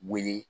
Wele